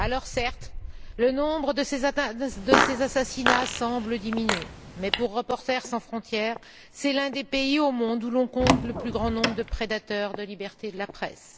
Certes, le nombre de ces assassinats semble diminuer mais pour Reporters sans Frontières, c'est l'un des pays au monde où l'on compte le plus grand nombre de prédateurs de la liberté de la presse.